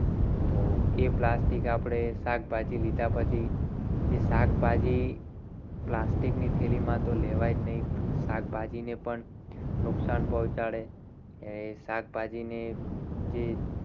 તો એ plastic આપણી શાકભાજી લીધા પછી એ શાકભાજી plastic ની થેલીમાં તો લેવાય જ નહીં. શાકભાજીને પણ નુકસાન પહોંચાડે. અને શાકભાજીને જે